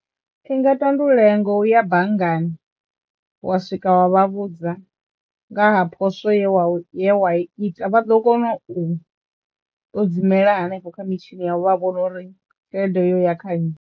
I nga tandulea ngo u ya banngani wa swika wa vha vhudza nga ha poswo ye wa ye wa ita vha ḓo kona u ṱodzimela hanefho kha mitshini yavho vha vhona uri tshelede yo ya kha nnyi.